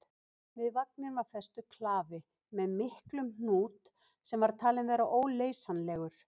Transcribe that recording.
Við vagninn var festur klafi með miklum hnút sem var talinn vera óleysanlegur.